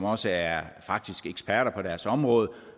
også er eksperter på deres område